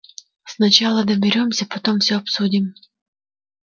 сначала доберёмся потом всё обсудим